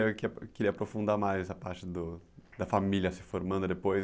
Eu queria aprofundar mais a parte do da família se formando depois.